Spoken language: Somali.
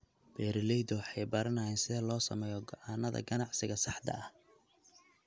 Beeraleydu waxay baranayaan sida loo sameeyo go'aannada ganacsiga saxda ah.